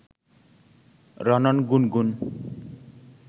রণন, গুনগুন